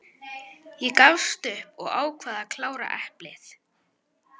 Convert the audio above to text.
Ég gafst upp og ákvað að klára eplið.